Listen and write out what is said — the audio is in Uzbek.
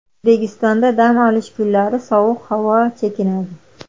O‘zbekistonda dam olish kunlari sovuq havo chekinadi.